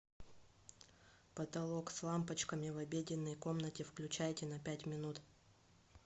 потолок с лампочками в обеденной комнате включайте на пять минут